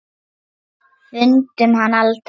Fundum hann aldrei.